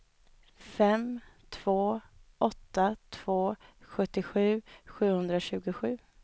fem två åtta två sjuttiosju sjuhundratjugosju